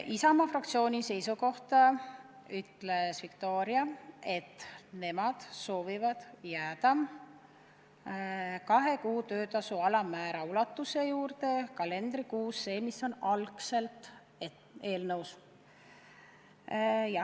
Isamaa fraktsiooni seisukoha ütles välja Viktoria, et nemad soovivad jääda kahe kuu töötasu alammäära ulatuse juurde kalendrikuus, selle juurde, mis on algselt eelnõus.